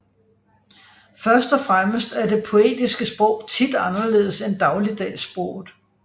Første og fremmest er det poetiske sprog tit anderledes end dagligdagssproget